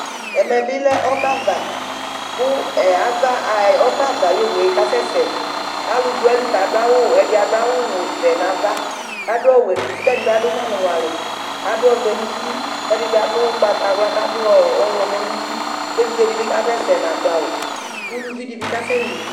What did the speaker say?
ɛmɛ bi lɛ ɔbɛ ava ku ɛɛ, ava, ɔbɛ ava ay'owue kasɛsɛ, kalu du ayili kadu awu , ɛdi adu awu vɛ n'ava k'adu ɔwɛ n'uti k'ɛdi bi adu ŋʋali ŋʋali k'adu ɔvɛ n'uti, k'ɛdi bi adu ugbata wla k'adu ɔwlumɔ n'uti k'evidze di bi k'asɛsɛ n'adu awu , uluvi di bi k'asɛli